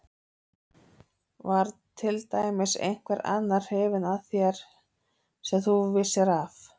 Var til dæmis einhver annar hrifinn af þér sem þú vissir af?